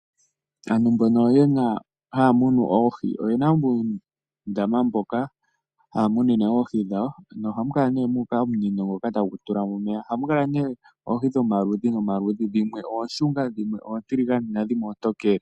Aantu mbono haya munu oohi oyena uundama mboka haya munine oohi dhawo, nohamu kala mu uka omunino ngoka tagu tulamo omeya. Ohamu kala nee oohi dhomaludhi no maludhi dhimwe oonshunga, dhimwe oontiligane nandhimwe oontokele.